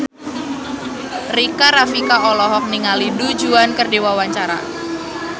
Rika Rafika olohok ningali Du Juan keur diwawancara